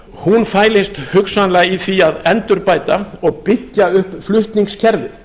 hún fælist hugsanlega í því að endurbæta og byggja upp flutningskerfið